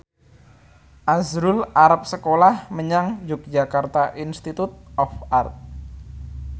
azrul arep sekolah menyang Yogyakarta Institute of Art